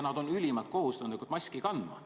Nad on ülimalt kohusetundlikud maski kandma.